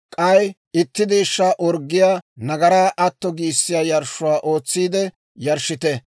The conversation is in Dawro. K'ay itti deeshshaa orggiyaa nagaraa atto giissiyaa yarshshuwaa ootsiide yarshshite.